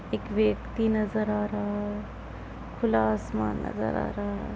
एक व्यक्ति नजर आर हा है खुला आसमान नजर आ रहा है।